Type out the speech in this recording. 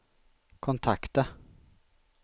kontakta